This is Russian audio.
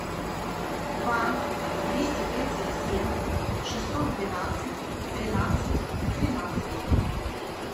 два двести тридцать семь шестьсот двенадцать тринадцать тринадцать